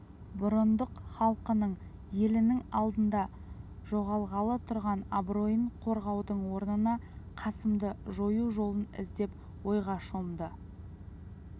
бұрындық халқының елінің алдында жоғалғалы тұрған абыройын қорғаудың орнына қасымды жою жолын іздеп ойға шомды